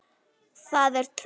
Það er tröll.